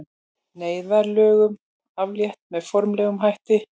Neyðarlögum aflétt með formlegum hætti